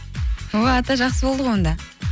о ата жақсы болды ғой онда